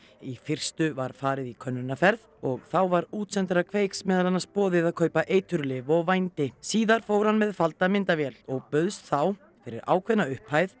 í fyrstu var farið í könnunarferð og þá var útsendara Kveiks meðal annars boðið að kaupa eiturlyf og vændi síðar fór hann með falda myndavél og bauðst þá fyrir ákveðna upphæð